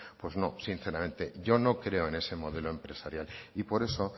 pues no sinceramente yo no creo en ese modelo empresarial y por eso